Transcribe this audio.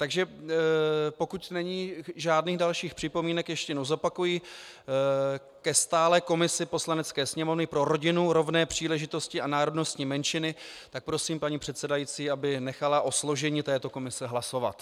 Takže pokud není žádných dalších připomínek - ještě jednou zopakuji - ke stálé komisi Poslanecké sněmovny pro rodinu, rovné příležitosti a národnostní menšiny, tak prosím paní předsedající, aby nechala o složení této komise hlasovat.